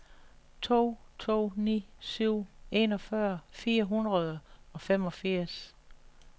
to to ni syv enogfyrre fire hundrede og femogfirs